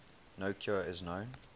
no cure is known